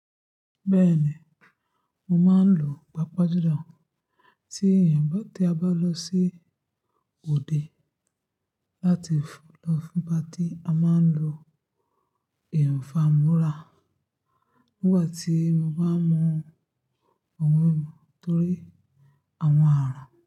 Bẹ́ẹ̀ni, mo máa ń lo pápá jójùlọ tí ìyàgbẹ́ tí a bá lọ sí òde láti lọ fún ibi tí a máa ń lo ìfámúrá nígbà tí mo bá mọ ohun mí mú torí àwọn àràn.